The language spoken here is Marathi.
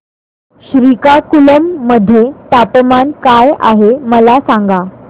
श्रीकाकुलम मध्ये तापमान काय आहे मला सांगा